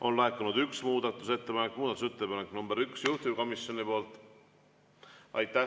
On laekunud üks muudatusettepanek, muudatusettepanek nr 1 juhtivkomisjonilt.